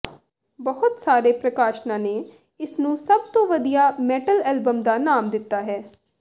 ਬਹੁਤ ਸਾਰੇ ਪ੍ਰਕਾਸ਼ਨਾਂ ਨੇ ਇਸਨੂੰ ਸਭ ਤੋਂ ਵਧੀਆ ਮੈਟਲ ਐਲਬਮ ਦਾ ਨਾਮ ਦਿੱਤਾ ਹੈ